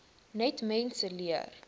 net mense leer